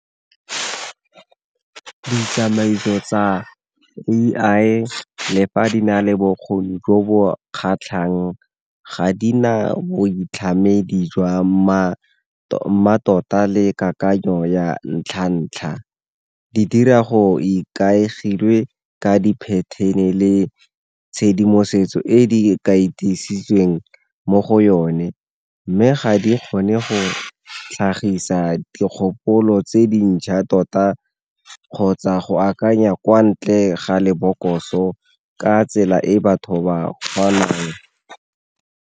Ditsamaiso tsa A_I le fa di na le bokgoni jo bo kgatlhang ga di na boitlhamedi jwa mmatota le kakanyo ya ntlha-ntlha. Di dira go ikaegilwe ka di-pattern-e le tshedimosetso e di mo go yone, mme ga di kgone go tlhagisa dikgopolo tse dintšha tota kgotsa go akanya kwa ntle ga lebokoso ka tsela e batho ba kgonang.